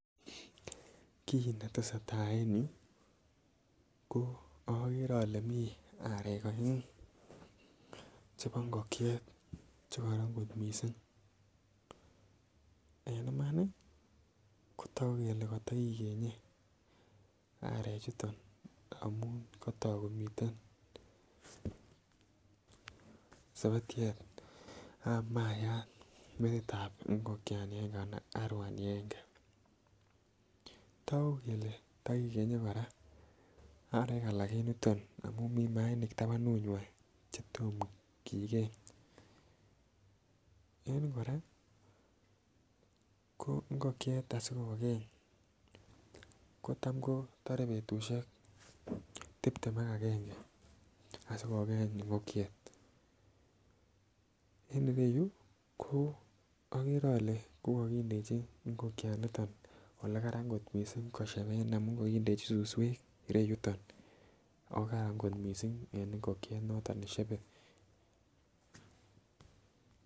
Kii netesetai en yuu ko okere ole mii arek oengu chebo ingokiet chekoron kot missing, en Imani kotoku kele kotokikenge arek chuton amun kotok komiten sebetyet ab mayat metitab ingokiani agenge anan aruani agange . Toku kele tokikenye Koraa arek alak en yuton amun mii mainik tabanuywan chetom kigeny. En yuu Koraa ingokiet asikokeny kotam kotore betushek tiptem ak agenge asikokeny ingokiet, en ireyuu ko okere ole ko kokindechi ingokia ndoniton ole Karan kot missing kosheben amun ko kokindechi suswek yuton okaran kot missing en ingokiet noton neshebe.